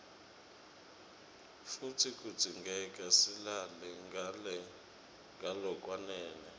futsi kudzingeka silale ngalokwanele